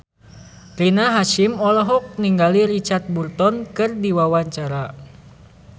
Rina Hasyim olohok ningali Richard Burton keur diwawancara